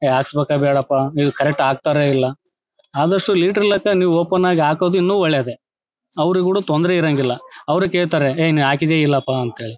ಏ ಆಸ್ಪತ್ರೆ ಬೇಡಪ್ಪಾ ಇಲ್ಲಿ ಕರೆಕ್ಟ್ ಹಾಕತ್ತಾರೋ ಇಲ್ಲಾ ಆಮೇಲೆ ಸೋ ಓಪನ್ ಆಗಿ ಹಾಕೋದೇ ಇನ್ನು ಒಳ್ಳೇದೇ ಅವ್ರ್ ತೊಂದರೆ ಇರಗಿಲ್ಲಾ ಅವ್ರ ಕೆಳತರೇ ಏನೀ ಹಾಕಿದ್ಯಾ ಇಲ್ಲಪ್ಪಾ ಅಂತ ಹೇಳಿ.